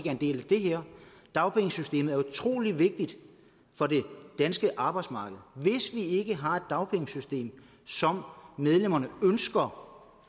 en del af det her dagpengesystemet er utrolig vigtigt for det danske arbejdsmarked hvis vi ikke har et dagpengesystem som medlemmerne ønsker